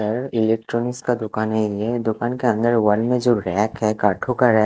इधर इलेक्ट्रानिक्स का दुकाने है यह दुकान के अंदर वॉल में जो रैक है काठो का रैक --